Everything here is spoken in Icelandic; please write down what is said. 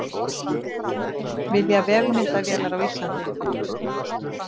Vilja vefmyndavélar á Íslandi